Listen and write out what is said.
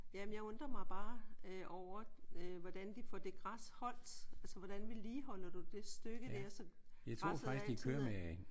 Ja. Jamen jeg undrer mig bare øh over øh hvordan de får det græs holdt? Altså hvordan vedligeholder du det stykke der så græsset altid er